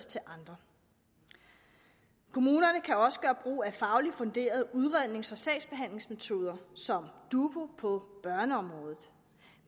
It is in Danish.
til andre kommunerne kan også gøre brug af fagligt funderede udrednings og sagsbehandlingsmetoder som dubu på børneområdet